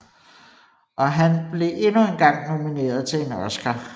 Og han blev endnu engang nomineret til en Oscar